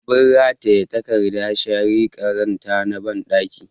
Abin rataye takardar share ƙazanta na banɗaki